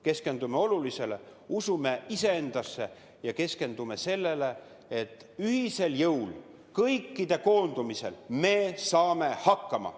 Keskendume olulisele, usume iseendasse ja keskendume sellele, et ühisel jõul, kõikide koondumisel me saame hakkama.